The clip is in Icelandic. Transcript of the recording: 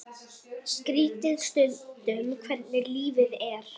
Skrítið stundum hvernig lífið er.